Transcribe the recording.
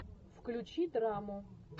включи драму